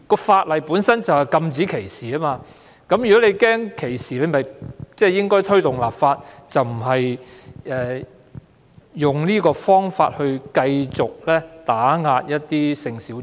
法例本身就是要禁止歧視，如果他擔心歧視，便應該推動立法，而不是用這種方法繼續打壓性小眾。